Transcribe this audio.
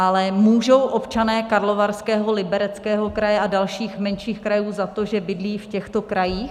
Ale můžou občané Karlovarského, Libereckého kraje a dalších menších krajů za to, že bydlí v těchto krajích?